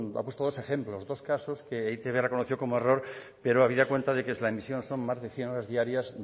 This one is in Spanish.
ha puesto dos ejemplos dos casos que e i te be ha reconocido como error pero habida cuenta que es la emisión son más de cien horas diarias